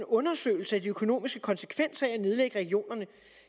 undersøgelse af de økonomiske konsekvenser af at nedlægge regionerne